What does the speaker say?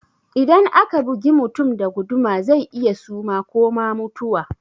Idan aka bugi mutum da guduma zai iya suma ko ma mutuwa